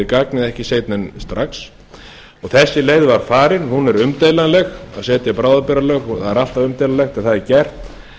gagnið ekki seinna en strax þessi leið var farin hún var umdeilanleg að setja bráðabirgðalög það er alltaf umdeilanlegt en það er gert